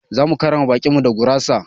Zamu karrama baƙin mu da gurasa.